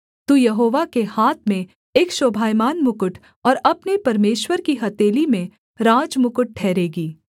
तू यहोवा के हाथ में एक शोभायमान मुकुट और अपने परमेश्वर की हथेली में राजमुकुट ठहरेगी